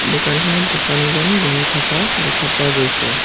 দোকানখনত দোকানীজন বহি থকা দেখা পোৱা গৈছে।